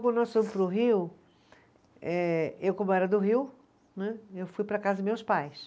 Quando nós fomos para o Rio eh, eu, como era do Rio né, eu fui para a casa dos meus pais.